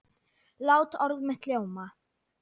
Lát orð mitt ljóma.